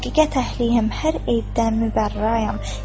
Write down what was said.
Həqiqət əhliyəm, hər eybdən mübərrəyəm.